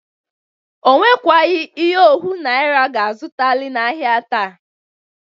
O nwekwagị ihe ohu naịra ga-azụtalị n'ahịa taa.